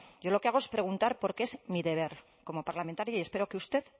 yo lo que hago es preguntar porque es mi deber como parlamentaria y espero que usted